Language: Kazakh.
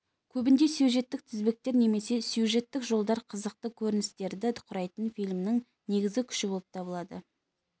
көбінде сюжеттік тізбектер немесе сюжеттік жолдар қызықты көріністерді құрайтын фильмнің негізгі күші болып табылады